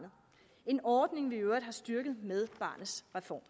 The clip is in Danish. en ordning vi i øvrigt har styrket med barnets reform